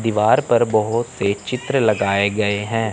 दीवार पर बहोत से चित्र लगाए गए हैं।